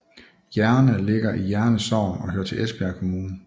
Jerne ligger i Jerne Sogn og hører til Esbjerg Kommune